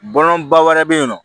Bɔlɔnba wɛrɛ bɛ yen nɔ